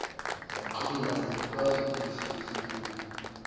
yaqina ayikwazi ukushukushukuma